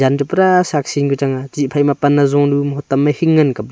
un to pura saksi ka changa chih phaima pan azunu hotam ma hing ngan kapley.